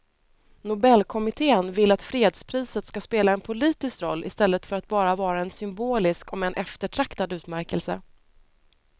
Nobelkommittén vill att fredspriset ska spela en politisk roll i stället för att bara vara en symbolisk om än eftertraktad utmärkelse.